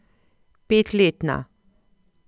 Petletna!